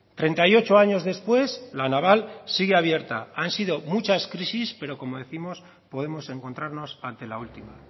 treinta y ocho años después la naval sigue abierta han sido muchas crisis pero como décimos podemos encontrarnos ante la última